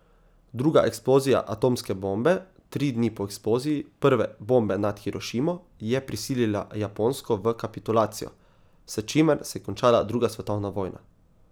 Druga eksplozija atomske bombe, tri dni po eksploziji prve bombe nad Hirošimo, je prisilila Japonsko v kapitulacijo, s čimer se je končala druga svetovna vojna.